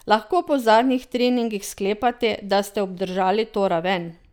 Lahko po zadnjih treningih sklepate, da ste obdržali to raven?